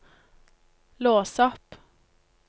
lås opp